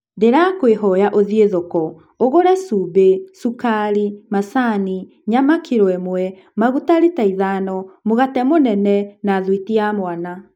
Ndĩrakũĩhoya ũthiĩ thoko, ũgũre cumbĩ, cũkari, macani, nyama kiro ĩmwe, maguta rita ithano, mũgate mũnene, na thwiti ya mwana.